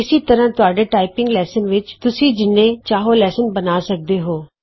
ਇਸੇ ਤਰ੍ਹਾਂ ਤੁਹਾਡੇ ਟਾਈਪਿੰਗ ਲੈਸਨ ਵਿਚ ਤੁਸੀਂ ਜਿਨ੍ਹੇ ਚਾਹੋ ਲੈਵਲ ਬਣਾ ਸਕਦੇ ਹੋ